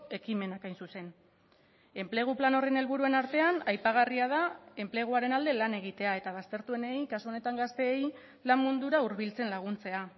ekimenak hain zuzen enplegu plan horren helburuen artean aipagarria da enpleguaren alde lan egitea eta baztertuenei kasu honetan gazteei lan mundura hurbiltzen laguntzea